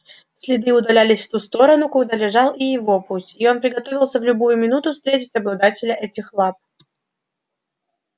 следы удалялись в ту сторону куда лежал и его путь и он приготовился в любую минуту встретить обладателя этих лап